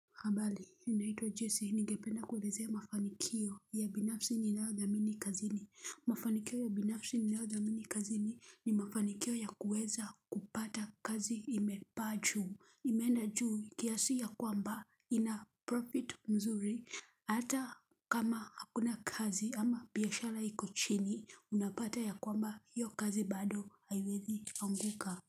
Ambali, ninaitwa Jesse, ningependa kuwalezea mafanikio ya binafsi ninayo dhamini kazini. Mafanikio ya binafsi ninayodhamini kazini, ni mafanikio ya kuweza kupata kazi imepaa juu. Imeenda juu, kiasi ya kwamba ina profit mzuri. Hata kama hakuna kazi ama biashara iko chini, unapata ya kwamba hiyo kazi bado haiwezi anguka.